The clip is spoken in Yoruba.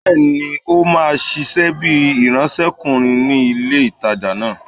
Bẹ́ẹ̀ni,ó máa ṣiṣẹ́ bíi ìránsẹ́kùnrin ní ilé-ìtánjẹ náà